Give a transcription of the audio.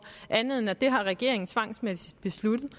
andet end at det har regeringen tvangsmæssigt besluttet